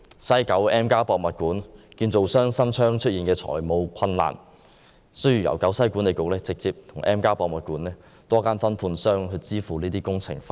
西九文化區 M+ 博物館的承建商新昌營造廠有限公司出現財務困難，需要由西九文化區管理局直接向 M+ 博物館的多間分判商支付工程費。